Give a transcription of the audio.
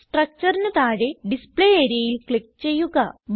structureന് താഴെ ഡിസ്പ്ലേ areaയിൽ ക്ലിക്ക് ചെയ്യുക